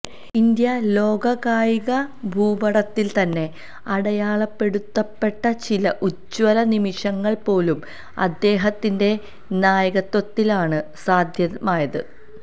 India ലോകകായികഭൂപടത്തില് തന്നെ അടയാളപ്പെടുത്തപ്പെട്ട ചില ഉജ്ജ്വല നിമിഷങ്ങള് പോലും അദ്ദേഹത്തിന്റെ നായകത്വത്തിലാണ് സാധ്യമായത്